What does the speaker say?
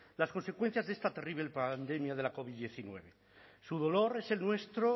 las consecuencias de esta terrible pandemia de la covid hemeretzi su dolor es el nuestro